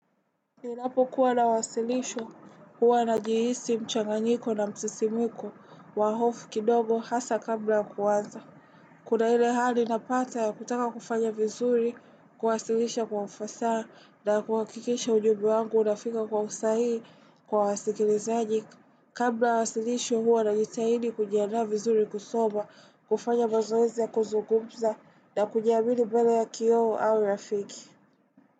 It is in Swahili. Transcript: Ninapo kuwa na wasilisho huwa najihisi mchanganyiko na msisimiko wa hofu kidogo hasa kabla kuanza. Kuna ile hali napata ya kutaka kufanya vizuri, kuwasilisha kwa ufasa na kuhakikisha ujumbe wangu unafika kwa usahii kwa wasikilizaji. Kabla wasilisho huwa najihidi kujianda vizuri kusoma, kufanya mazoezi ya kuzugumza na kujiamini mbele ya kioo au rafiki.